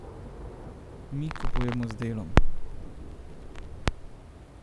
Mi kupujemo z delom.